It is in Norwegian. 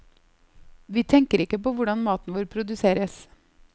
Vi tenker ikke på hvordan maten vår produseres.